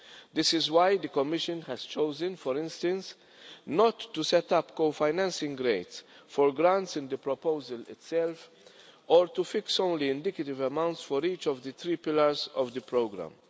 This is why the Commission has chosen, for instance, not to set up co financing rates for grants in the proposal itself, or to fix only indicative amounts for each of the three pillars of the programme.